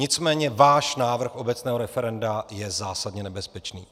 Nicméně váš návrh obecného referenda je zásadně nebezpečný.